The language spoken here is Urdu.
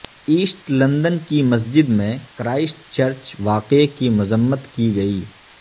ایسٹ لندن کی مسجد میں کرائسٹ چرچ واقعہ کی مذمت کی گئی